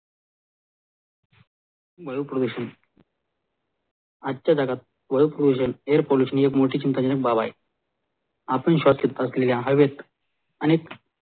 वायू पॉल्युशन आजच्या जगात वायू पॉल्युशन air pollution हि मोठी चिंता जनक बाब आहे आपली श्वसन प्रक्रिया हरवेड्स अनेक